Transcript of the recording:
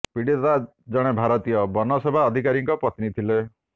ପୀଡ଼ିତା ଜଣେ ଭାରତୀୟ ବନ ସେବା ଅଧିକାରୀଙ୍କ ପତ୍ନୀ ଥିଲେ